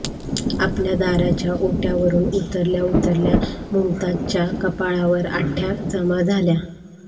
आपल्या दाराच्या ओट्यावरुन उतरल्या उतरल्या मुमताजच्या कपाळावर आठ्या जमा झाल्या